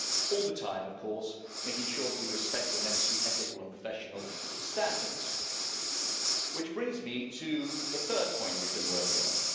All the time, of course, making sure that we respect the necessary ethical and professional standards, which brings me to the third point we've been working on.